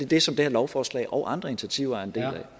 det som det her lovforslag og andre initiativer